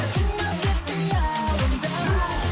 қалдың ба тек қиялымда